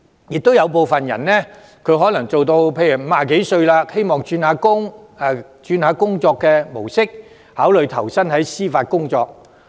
同時，有部分人可能私人執業至50多歲，希望轉換工作模式，考慮投身司法機構工作。